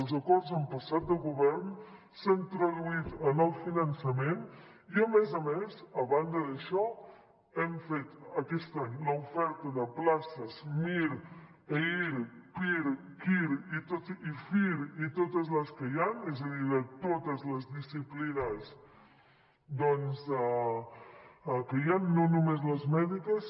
els acords han passat de govern s’han traduït en el finançament i a més a més a banda d’això hem fet aquest any l’oferta de places mir eir pir qir i fir i totes les que hi han és a dir de totes les disciplines que hi han no només les mèdiques